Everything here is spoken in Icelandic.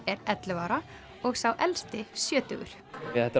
er ellefu ára og sá elsti sjötugur þetta